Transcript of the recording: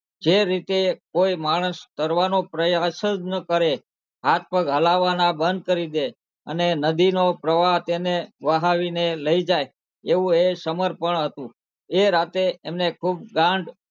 જે રીતે કોઈ માણસ તરવાનો પ્રયાસ જ ન કરે હાથ -પગ હલાવાના બંધ કરી દે અને નદીનો પ્રવાહ તેને વહાવીને લઇ જાય એવું એ સમર્પણ હતું એ રાતે એમને ખુબ